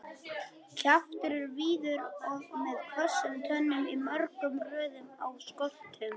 Kjaftur er víður og með hvössum tönnum í mörgum röðum á skoltum.